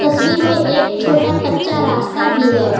तस्वीर में एक छोटा कच्चा रास्ता भी है।